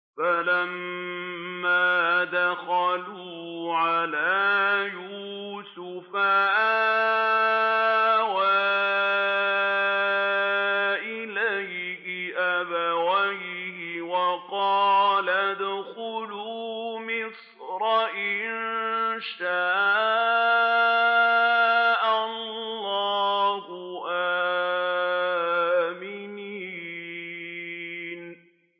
فَلَمَّا دَخَلُوا عَلَىٰ يُوسُفَ آوَىٰ إِلَيْهِ أَبَوَيْهِ وَقَالَ ادْخُلُوا مِصْرَ إِن شَاءَ اللَّهُ آمِنِينَ